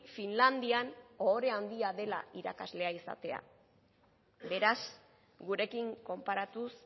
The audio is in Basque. finlandian ohore handia dela irakaslea izatea beraz gurekin konparatuz